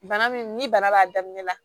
Bana min ni bana b'a daminɛ la